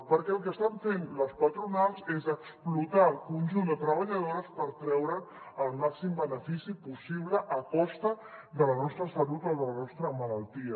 perquè el que estan fent les patronals és explotar el conjunt de treballadores per treure’n el màxim benefici possible a costa de la nostra salut o de la nostra malaltia